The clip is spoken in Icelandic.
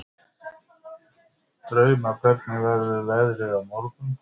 Drauma, hvernig verður veðrið á morgun?